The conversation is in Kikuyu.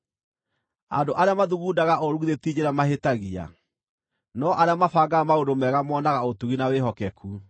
Andũ arĩa mathugundaga ũũru githĩ ti njĩra mahĩtagia? No arĩa mabangaga maũndũ mega monaga ũtugi na wĩhokeku.